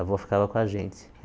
A avó ficava com a gente.